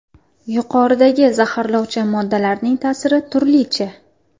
Yuqoridagi zaharlovchi moddalarning ta’siri turlicha.